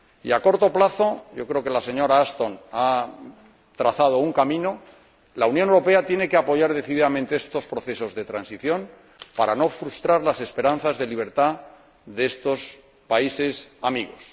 Y a corto plazo —yo creo que la señora Ashton ha trazado un camino— la Unión Europea tiene que apoyar decididamente estos procesos de transición para no frustrar las esperanzas de libertad de estos países amigos.